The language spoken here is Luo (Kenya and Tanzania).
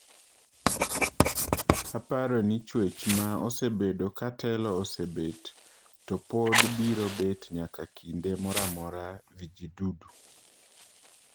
"Aparoni chwech ma osebedo ka telo osebet to pod biro bet nyaka kinde moramora vijidudu,"